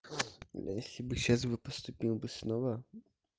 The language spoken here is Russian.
если бы сейчас бы поступил бы снова